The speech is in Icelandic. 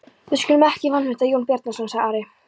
Við skulum ekki vanmeta Jón Bjarnason, sagði Ari.